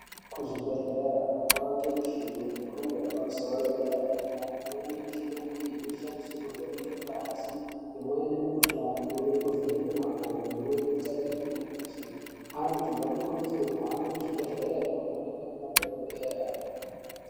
Ku zvibhedhleya kwane mishini ye mhando yepa musoro ye dera dera imweni mishana iyi inoshandiswa ku vheneke ngazi imweni mi kuhlani imweni ku vheneke makodo imweni kutarire marenje antu ano kurudzirwe kuhambe ku zvi bhedhlere kuno wanikwe mi madhokodheya.